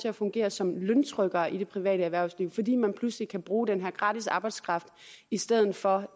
at fungere som løntrykkere i det private erhvervsliv fordi man pludselig kan bruge den her gratis arbejdskraft i stedet for